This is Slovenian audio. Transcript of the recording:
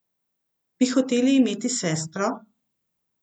Bi hotel imeti sestro?